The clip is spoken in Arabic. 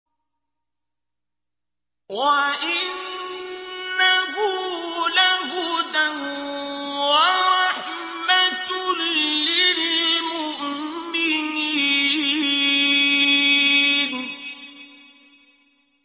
وَإِنَّهُ لَهُدًى وَرَحْمَةٌ لِّلْمُؤْمِنِينَ